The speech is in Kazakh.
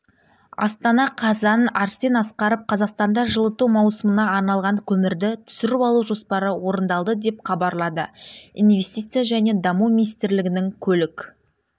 астана қазан арсен асқаров қазақстанда жылыту маусымына арналған көмірді түсіріп алу жоспары орындалды деп хабарлады инвестиция және даму министрлігінің көлік